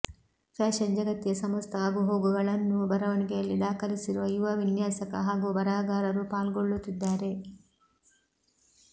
fashion ಜಗತ್ತಿನ ಸಮಸ್ತ ಆಗುಹೋಗುಗಳನ್ನೂ ಬರವಣಿಗೆಯಲ್ಲಿ ದಾಖಲಿಸಿರುವ ಯುವ ವಿನ್ಯಾಸಕ ಹಾಗೂ ಬರಹಗಾರರೂ ಪಾಲ್ಗೊಳ್ಳುತ್ತಿದ್ದಾರೆ